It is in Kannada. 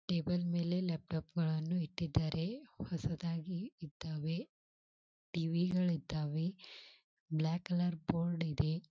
ಟೇಬಲ್ ಮೇಲೆ ಲ್ಯಾಪ್ಟಾಪ್ ಗಳನ್ನೂ ಇಟ್ಟಿದಾರೆ ಹೊಸದಾಗಿ ಇದ್ದಾವೆ ಟಿವಿ ಗಳು ಇದ್ದಾವೆ ಬ್ಲಾಕ್ ಕಲರ್ ಬೋರ್ಡ್ ಇದೆ.